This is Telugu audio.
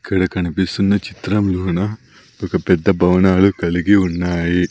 ఇక్కడ కనిపిస్తున్న చిత్రంలోన ఒక పెద్ద భవనాలు కలిగి ఉన్నాయి.